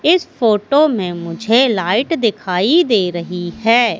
इस फोटो में मुझे लाइट दिखाई दे रही है।